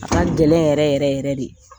A ka gɛlɛn yɛrɛ yɛrɛ yɛrɛ de.